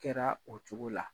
Kɛra o cogo la.